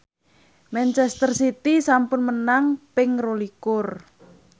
manchester city sampun menang ping rolikur